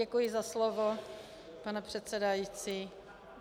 Děkuji za slovo, pane předsedající.